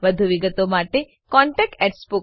વધુ વિગતો માટે કૃપા કરી contactspoken tutorialorg પર લખો